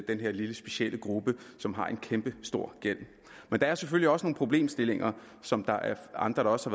den her lille specielle gruppe som har en kæmpestor gæld der er selvfølgelig også nogle problemstillinger som andre også